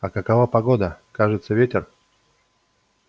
а какова погода кажется ветер